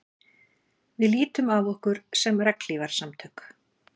Við lítum á okkur sem regnhlífarsamtök